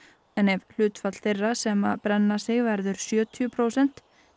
ef hlutfall þeirra sem brenna sig verður sjötíu prósent